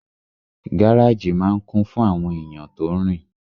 Gáràjì máa n kún fún àwọn èèyàn tó rin